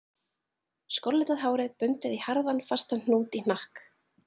Skollitað hárið bundið í harðan, fastan hnút í hnakk